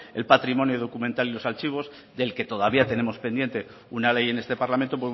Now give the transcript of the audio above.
el patrimonio documental y los archivos del que todavía tenemos pendiente una ley en este parlamento